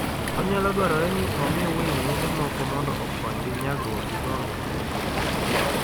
Onyalo dwarore ni omi winy yedhe moko mondo okonygi nyagruok gi gombo mar chiemo.